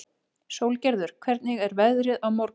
Sólgerður, hvernig er veðrið á morgun?